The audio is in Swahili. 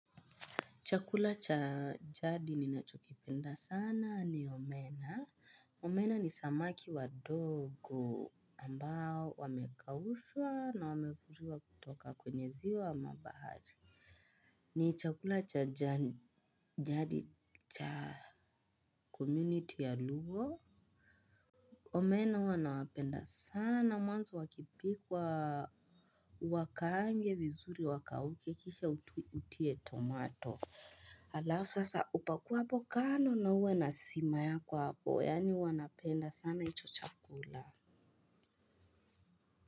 Chakula cha jadi ninachokipenda sana ni omena. Omena ni samaki wadogo ambao wamekaushwa na wamevuliwa kutoka kwenye ziwa ama bahari. Ni chakula cha jadi cha community ya lugo. Omena huwa nawapenda sana mwanzo wakipikwa uwakaange vizuri wakauke kisha utie tomato. Alafu sasa upakuapo kando na uwe na sima yako hapo yaani huwa napenda sana hicho chakula.